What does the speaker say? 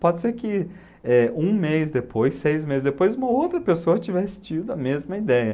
Pode ser que é um mês depois, seis meses depois, uma outra pessoa tivesse tido a mesma ideia.